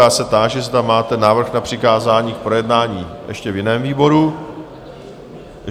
Já se táži, zda máte návrh na přikázání k projednání ještě v jiném výboru?